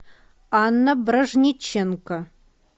анна бражниченко